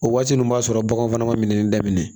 O waati ninnu b'a sɔrɔ baganw fana ma minɛ daminɛ